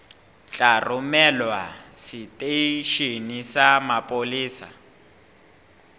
tla romelwa seteisheneng sa mapolesa